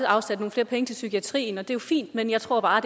afsat nogle flere penge til psykiatrien og det er jo fint men jeg tror bare